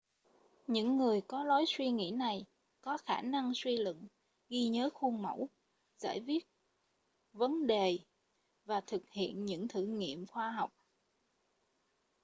những người có lối suy nghĩ này có khả năng suy luận ghi nhớ khuôn mẫu giải quyết vấn đề và thực hiện những thử nghiệm khoa học